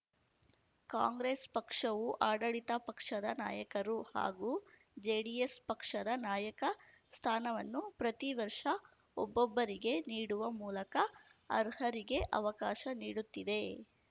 ಕಾಂಗ್ರೆಸ್‌ ಪಕ್ಷವು ಆಡಳಿತ ಪಕ್ಷದ ನಾಯಕರು ಹಾಗೂ ಜೆಡಿಎಸ್‌ ಪಕ್ಷದ ನಾಯಕ ಸ್ಥಾನವನ್ನು ಪ್ರತಿ ವರ್ಷ ಒಬ್ಬೊಬ್ಬರಿಗೆ ನೀಡುವ ಮೂಲಕ ಅರ್ಹರಿಗೆ ಅವಕಾಶ ನೀಡುತ್ತಿದೆ